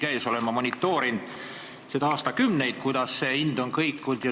Ma olen aastakümneid monitoorinud, kuidas see hind on kõikunud.